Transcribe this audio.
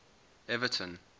evaton